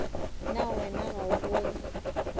na wena ga o bone